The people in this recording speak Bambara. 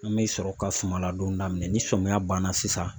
An be sɔrɔ ka suma ladon daminɛ ni sɔmiya ban na sisan.